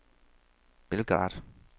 Belgrad